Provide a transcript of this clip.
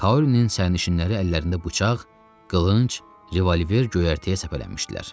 Kaorinin sərnişinləri əllərində bıçaq, qılınc, revolver göyərtəyə səpələnmişdilər.